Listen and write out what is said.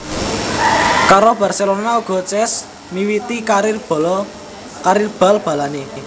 Karo Barcelona uga Cesc miwiti karir bal balanè